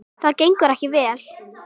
Það gengur ekki vel.